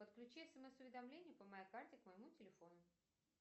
подключи смс уведомления по моей карте к моему телефону